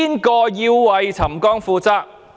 誰要為沉降負責？